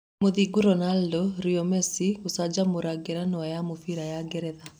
Mũthingu Ronando, Rio Mesi gũcanjamũra ngerenwa ya mũbira ya Ngeretha.